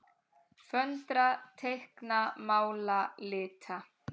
Föndra- teikna- mála- lita